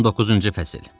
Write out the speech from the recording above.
19-cu fəsil.